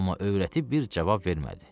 Amma övrəti bir cavab vermədi.